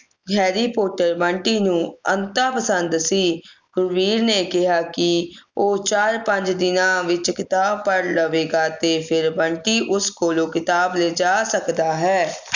harry potter Bunty ਨੂੰ ਅਨਤਾ ਪਸੰਦ ਸੀ ਗੁਰਬੀਰ ਨੇ ਕਿਹਾ ਕਿ ਉਹ ਚਾਰ ਪੰਜ ਦਿਨਾਂ ਵਿੱਚ ਕਿਤਾਬ ਪੜ੍ਹ ਲਵੇਗਾ ਤੇ ਫੇਰ ਬੰਟੀ ਉਸ ਕੋਲੋਂ ਕਿਤਾਬ ਲੈ ਜਾ ਸਕਦਾ ਹੈ